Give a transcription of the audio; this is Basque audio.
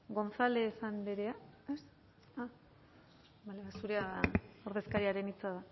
gonzález andrea zurea da ordezkariaren hitza